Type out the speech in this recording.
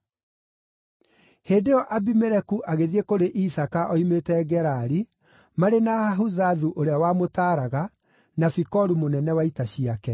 Hĩndĩ ĩyo Abimeleku agĩthiĩ kũrĩ Isaaka oimĩte Gerari, marĩ na Ahuzathu ũrĩa wamũtaaraga, na Fikolu mũnene wa ita ciake.